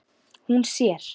Hún sér